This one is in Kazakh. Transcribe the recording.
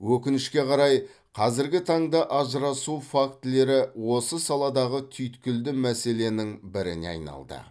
өкінішке қарай қазіргі таңда ажырасу фактілері осы саладағы түйткілді мәселенің біріне айналды